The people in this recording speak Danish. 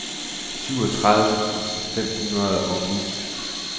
syvogtredive tusind fem hundrede og ni